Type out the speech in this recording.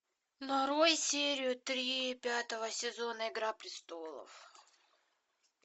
нарой серию три пятого сезона игра престолов